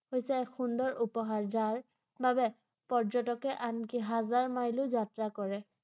হৈছে সুন্দৰ উপহাৰ ৷ যাৰ বাবে পৰ্যটকে আনকি হাজাৰ মাইলো যাত্ৰা কৰে ৷